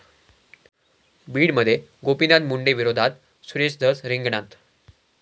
बीडमध्ये गोपीनाथ मुंडेंविरोधात सुरेश धस रिंगणात